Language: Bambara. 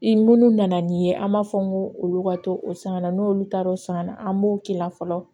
I munnu nana n'i ye an b'a fɔ ko olu ka to o san na n'olu taar'o sanna an b'o k'i la fɔlɔ